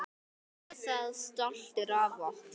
Gerum það stolt af okkur.